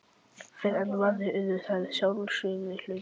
Fyrr en varði urðu þær sjálfsagður hlutur.